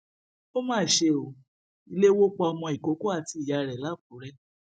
ó má ṣe ọ ilé wò pa ọmọ ìkókó àti ìyá rẹ lákùrè